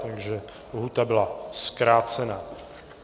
Takže lhůta byla zkrácena.